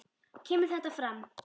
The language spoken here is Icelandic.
kemur þetta fram